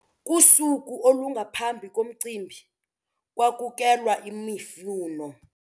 Kusuku olungaphambi komcimbi kwakukelwa imifuno.